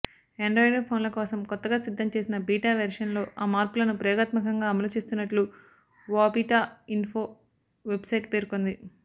Android ఫోన్ల కోసం కొత్తగా సిద్ధంచేసిన బీటా వెర్షన్లో ఆ మార్పులను ప్రయోగాత్మకంగా అమలు చేస్తున్నట్లు వాబీటాఇన్ఫో వెబ్సైట్ పేర్కొంది